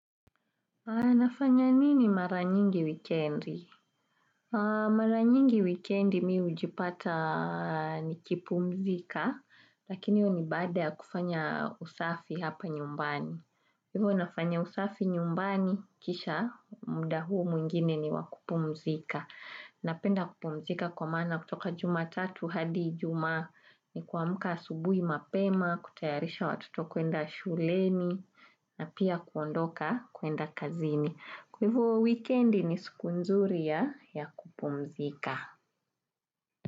Nafanya nini maranyingi weekendi? Maranyingi weekendi mi ujipata ni kipumzika, lakini yo ni bada ya kufanya usafi hapa nyumbani. Ivo nafanya usafi nyumbani, kisha, muda huo mwingine ni wakupumzika. Napenda kupumzika kwa mana kutoka jumatatu hadi ijuma ni kwamuka asubui mapema, kutayarisha watoto kuenda shuleni, na pia kuondoka kuenda kazini. Kwevo weekendi ni siku nzuri ya kupumzika.